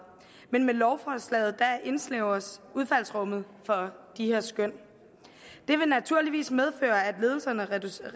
men med lovforslaget indsnævres udfaldsrummet for de her skøn det vil naturligvis medføre at ledelserne reducerer